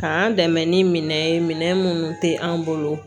K'an dɛmɛ ni minɛn ye minɛn minnu tɛ an bolo